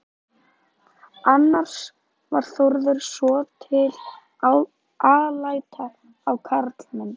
Annars var Þórður svotil alæta á karlmenn.